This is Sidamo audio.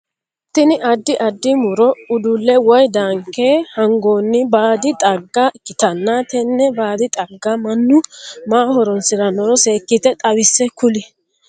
Tinni addi addi muro udule woyi daanke hangoonni baadi xagga ikitanna tenne baadi xagga Manu maaho horoonsi'nanniro seekite xawise kuli?